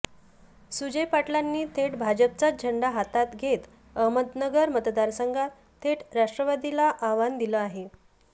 सुजय पाटलांनी थेट भाजपचाच झेंडा हातात घेत अहमदनगर मतदारसंघात थेट राष्ट्रवादीला आव्हान दिलं आहे